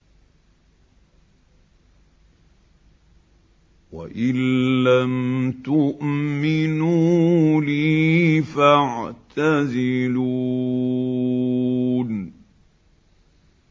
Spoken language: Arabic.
وَإِن لَّمْ تُؤْمِنُوا لِي فَاعْتَزِلُونِ